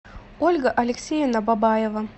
ольга алексеевна бабаева